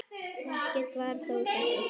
Ekkert varð þó úr þessu.